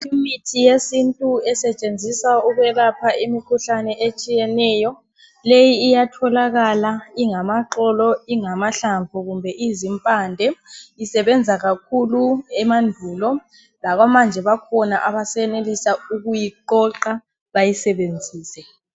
Imithi yesintu esetshenziswa ukwelapha imikhuhlane etshiyeneyo, leyi iyatholakala ingamaxolo, , ingamahlamvu kumbe izimpande. Isebenza kakhulu emandulo. Labamanje bakhona abasenelisa ukuyiqoqa bayisebenzise.